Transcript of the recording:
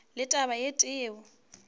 le taba e tee yeo